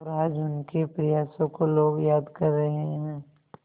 और आज उनके प्रयासों को लोग याद कर रहे हैं